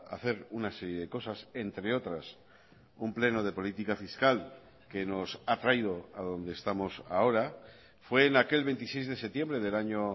hacer una serie de cosas entre otras un pleno de política fiscal que nos ha traído a donde estamos ahora fue en aquel veintiséis de septiembre del año